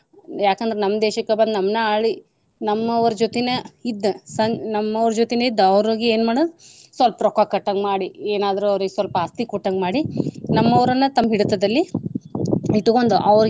ಯಾಕ ಅಂದ್ರ ನಮ್ಮ ದೇಶಕ್ಕ ಬಂದ ನಮ್ನ ಆಳಿ ನಮ್ಮವ್ರ ಜೋತಿನ ಇದ್ದ ಸಂ~ ನಮ್ಮವ್ರ ಜೋತಿನ ಇದ್ದ ಅವ್ರಿಗೆ ಏನ ಮಾಡು ಸ್ವಲ್ಪ ರೊಕ್ಕಾ ಕೊಟ್ಟಂಗ ಮಾಡಿ ಎನಾದ್ರು ಅವ್ರಿಗ ಸ್ವಲ್ಪ ಆಸ್ತಿ ಕೊಟ್ಟಂಗ ಮಾಡಿ ನಮ್ಮವ್ರನ್ನ ತಮ್ಮ ಹಿಡತದಲ್ಲಿ ಇಟಗೊಂದ ಅವ್ರಿಗ.